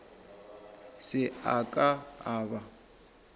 se a ka a ba